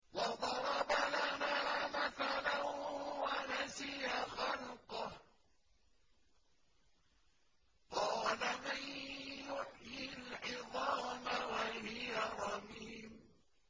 وَضَرَبَ لَنَا مَثَلًا وَنَسِيَ خَلْقَهُ ۖ قَالَ مَن يُحْيِي الْعِظَامَ وَهِيَ رَمِيمٌ